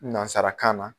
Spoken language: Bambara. Nansarakan na